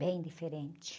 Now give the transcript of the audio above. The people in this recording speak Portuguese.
Bem diferente.